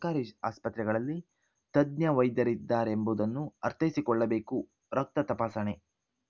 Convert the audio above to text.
ಸರ್ಕಾರಿ ಆಸ್ಪತ್ರೆಗಳಲ್ಲಿ ತಜ್ಞ ವೈದ್ಯರಿದ್ದಾರೆಂಬುದನ್ನು ಅರ್ಥೈಸಿಕೊಳ್ಳಬೇಕು ರಕ್ತ ತಪಾಸಣೆ